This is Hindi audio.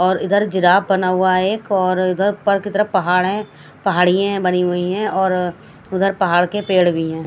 और इधर जिराफ बना हुआ है एक और इधर ऊपर की तरफ पहाड़ है पहाड़ियाँ बनी हुई है और उधर पहाड़ के पेड़ भी हैं।